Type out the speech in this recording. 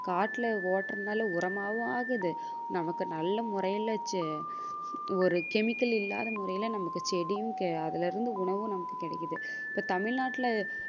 காட்டுல ஓட்றதுனால உரமாகவும் ஆகுது நமக்கு நல்ல முறையில செ~ ஒரு chemical இல்லாத முறையில நமக்கு செடியும் அதிலிருந்து உணவும் நமக்கு கிடைக்குது இப்ப தமிழ்நாட்டுல